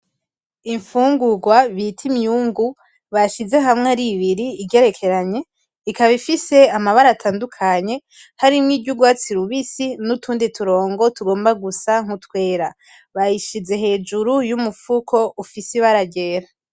Infugurwa bita imyungu bashize hamwe ar’ibiri igerekeranye ikaba ifise amabara atandukanye harimwo iry’urwatsi rubisi n’utundi turongo tugomba gusa nk’utwera. Bayishize hejuru y’umufuko ifise ibara ryera